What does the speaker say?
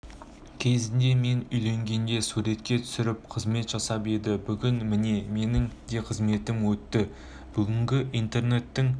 кезінде мен үйленгенде суретке түсіріп қызмет жасап еді бүгін міне менің де қызметім өтті бүгінгі интернеттің